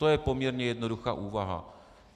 To je poměrně jednoduchá úvaha.